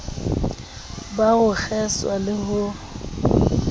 ba ho kgeswa le ho